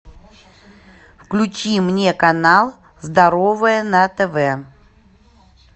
включи мне канал здоровое на тв